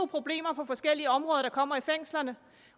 problemer på forskellige områder der kommer i fængslerne